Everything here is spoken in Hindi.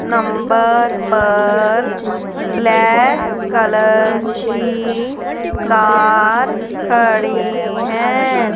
नंबर पर ब्लैक कलर की कार खड़ी है।